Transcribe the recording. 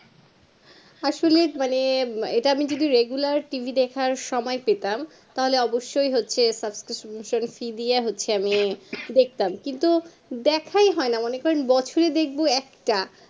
আসলে মানে ইটা আমি যদি মানে আমি regularTV দেখার সময়ে পেতাম তাহলে অবসই হচ্ছে susbcription-fee দিয়া হচ্ছে আমি দেখতাম কিন্তু দেখাই হয়না মনে করেন বছরে দেখবো একটা